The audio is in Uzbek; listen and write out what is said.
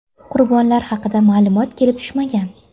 Qurbonlar haqida ma’lumot kelib tushmagan.